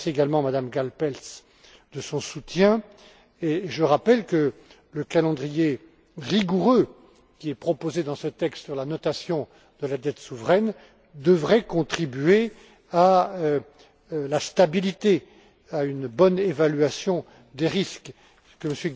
Je remercie également Mme Gáll Pelcz de son soutien et je rappelle que le calendrier rigoureux qui est proposé dans ce texte sur la notation de la dette souveraine devrait contribuer à la stabilité, à une bonne évaluation des risques, ce que M.